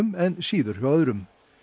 en síður hjá öðrum